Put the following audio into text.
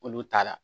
Olu t'a la